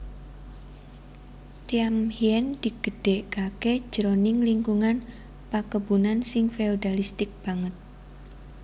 Thiam Hien digedhèkaké jroning lingkungan pakebunan sing feodalistik banget